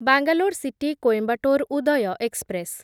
Bangalore city Coimbatore Uday express